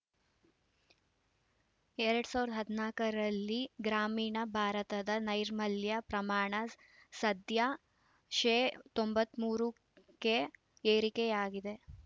ಎರಡ್ ಸಾವಿರದ ಹದಿನಾಕರಲ್ಲಿ ಗ್ರಾಮೀಣ ಭಾರತದ ನೈರ್ಮಲ್ಯ ಪ್ರಮಾಣ ಸದ್ಯ ಶೇ ತೊಂಬತ್ತ್ ಮೂರು ಕೆ ಏರಿಕೆಯಾಗಿದೆ